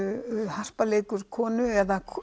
harpa leikur konu eða